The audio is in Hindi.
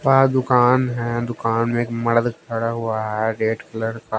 पास दुकान है दुकान में एक मर्द खड़ा हुआ है रेड कलर का--